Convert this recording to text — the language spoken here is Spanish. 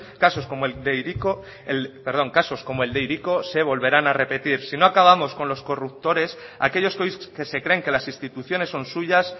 casos como el de hiriko se volverán a repetir sino acabamos con los corruptores aquellos que hoy que se creen que las instituciones son suyas